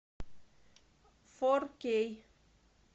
фор кей